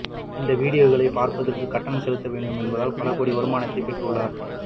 இந்த வீடியோக்களை பார்ப்பதற்கு கட்டணம் செலுத்த வேண்டும் என்பதால் பல கோடியில் வருமானத்தையும் பெற்று உள்ளார்